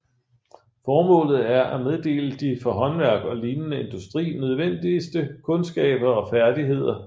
Formålet er at meddele de for håndværk og lignende industri nødvendigste kundskaber og færdigheder